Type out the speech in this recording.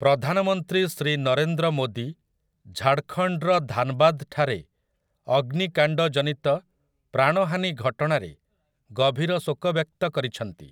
ପ୍ରଧାନମନ୍ତ୍ରୀ ଶ୍ରୀ ନରେନ୍ଦ୍ର ମୋଦୀ ଝାଡ଼ଖଣ୍ଡର ଧାନବାଦ ଠାରେ ଅଗ୍ନିକାଣ୍ଡଜନିତ ପ୍ରାଣହାନୀ ଘଟଣାରେ ଗଭୀର ଶୋକ ବ୍ୟକ୍ତ କରିଛନ୍ତି ।